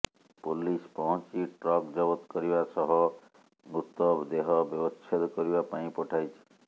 police ପହଞ୍ଚି truck ଜବତ କରିବା ସହ ମୃତ ଦେହ ବ୍ୟବଛେଦ କରିବା ପାଇଁ ପଠାଇଛି